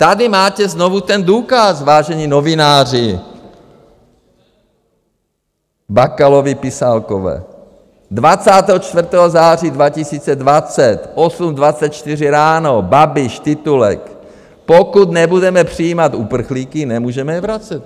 Tady máte znovu ten důkaz, vážení novináři, Bakalovi pisálkové: 24. září 2020, 8.24 ráno, Babiš, titulek: Pokud nebudeme přijímat uprchlíky, nemůžeme je vracet.